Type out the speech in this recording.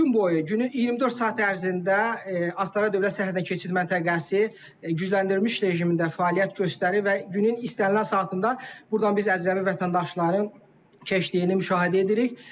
Gün boyu, günün 24 saat ərzində Astara dövlət sərhəd keçid məntəqəsi gücləndirilmiş rejimində fəaliyyət göstərir və günün istənilən saatında burdan biz əcnəbi vətəndaşların keçdiyini müşahidə edirik.